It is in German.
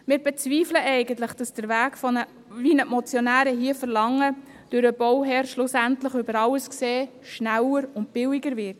Im Grunde bezweifeln wir, dass der von den Motionären geforderte Weg für den Bauherrn am Ende schneller und billiger wird.